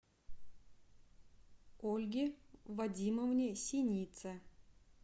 ольге вадимовне синице